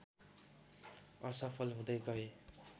असफल हुँदै गए